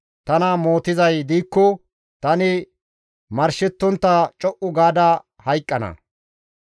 Tana mootizay diikko tani marshettontta co7u gaada hayqqana.